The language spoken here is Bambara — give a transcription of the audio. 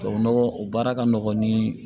Tubabu nɔgɔ o baara ka nɔgɔn ni